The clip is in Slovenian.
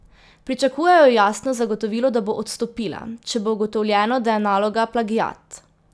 Pričakujejo jasno zagotovilo, da bo odstopila, če bo ugotovljeno, da je naloga plagiat.